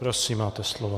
Prosím, máte slovo.